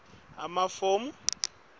tfumela emafomu ku